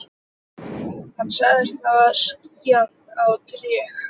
Hann sagðist hafa skíðað á tré.